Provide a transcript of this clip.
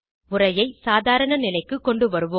உரையை சாதாரண நிலைக்கு கொண்டுவருவோம்